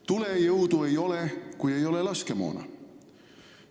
Tulejõudu ei ole, kui ei ole laskemoona.